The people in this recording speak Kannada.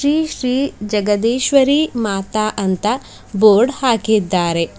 ಶ್ರೀ ಶ್ರೀ ಜಗದೀಶ್ವರಿ ಮಾತಾ ಅಂತ ಬೋರ್ಡ್ ಹಾಕಿದ್ದಾರೆ.